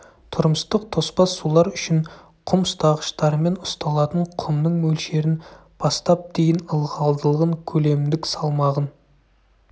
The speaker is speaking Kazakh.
тұрмыстық тоспа сулар үшін құм ұстағыштармен ұсталатын құмның мөлшерін бастап дейін ылғалдылығын көлемдік салмағын